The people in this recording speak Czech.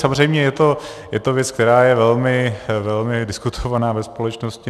Samozřejmě je to věc, která je velmi diskutovaná ve společnosti.